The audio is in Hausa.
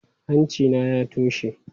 Hanci na ya toshe.